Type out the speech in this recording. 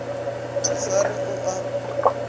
a sa re o a